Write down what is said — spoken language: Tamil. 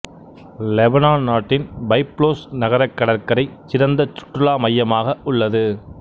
லெபனான் நாட்டின் பைப்லோஸ் நகரக் கடற்கரை சிறந்த சுற்றுலாத் மையமாக உள்ளது